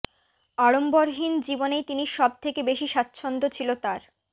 আড়ম্বরহীন জীবনেই তিনি সব থেকে বেশি স্বাচ্ছন্দ ছিল তাঁর